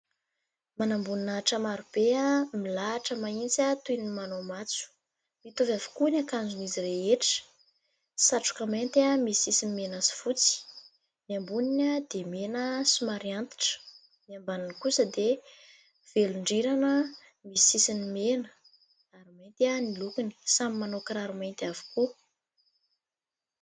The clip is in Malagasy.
Manam-boninahitra maro be, milahatra mahitsy toy ny manao matso, mitovy avokoa ny akanjon'izy rehetra : satroka mainty misy sisiny mena sy fotsy, ny amboniny dia mena somary antitra, ny ambaniny kosa dia velon-drirana misy sisiny mena ary mainty ny lokony, samy manao kiraro mainty avokoa.